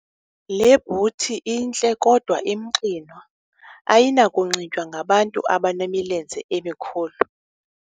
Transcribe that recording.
Le bhuthi intle kodwa imxinwa ayinakunxitywa ngabantu abanemilenze emikhulu.